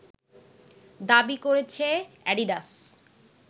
দাবী করেছে অ্যাডিডাস